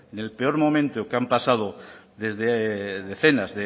en el peor momento que han pasado desde decenas